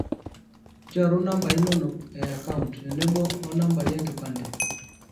nchoru nambai inonok e account tenebo o nambai enkipande